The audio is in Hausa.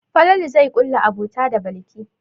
Falalu zai ƙulla abota da Balki.